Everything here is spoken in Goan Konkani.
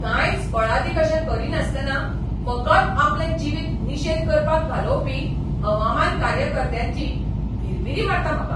कांयच फळादीक अशें करिनासतना फकत आपलें जिवीत निशेध करपांत घालोवपी हवामान कार्यकर्त्यांची भिरभिरी मारता म्हाका.